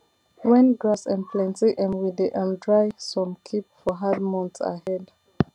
when grass um plenty um we dey um dry some keep for hard months ahead